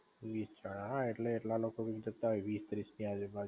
વીસ જણા હે, હા એટલે એટલા લોકો જતાં હોય વીસ ત્રીસ ની આજુ બાજુ